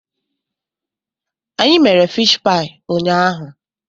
Anyị mere fish paị ụnyaahụ.